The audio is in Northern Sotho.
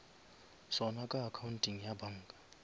sona ka accounteng ya banka